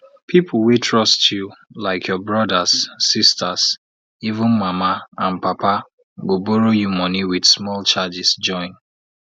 pipo wey trust you like your brothers sisters even mama and papago borrow you money with small charges join